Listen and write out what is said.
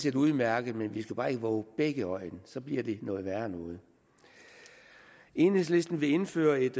er udmærket men vi skal bare ikke vove begge øjne så bliver det noget værre noget enhedslisten vil indføre et